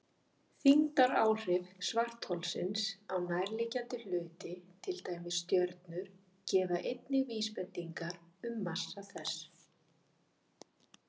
Þyngdaráhrif svartholsins á nærliggjandi hluti, til dæmis stjörnur, gefa einnig vísbendingar um massa þess.